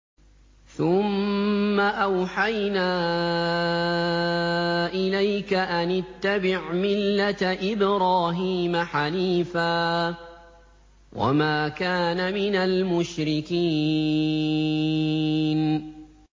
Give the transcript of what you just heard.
ثُمَّ أَوْحَيْنَا إِلَيْكَ أَنِ اتَّبِعْ مِلَّةَ إِبْرَاهِيمَ حَنِيفًا ۖ وَمَا كَانَ مِنَ الْمُشْرِكِينَ